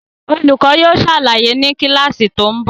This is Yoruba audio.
Olùkọ́ yóò ṣàlàyé ni kíláàsì tó ń bọ̀